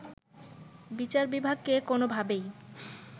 বিচার বিভাগকে কোনোভাবেই